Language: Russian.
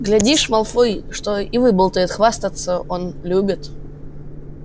глядишь малфой что и выболтает хвастаться он любит